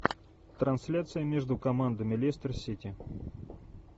трансляция между командами лестер сити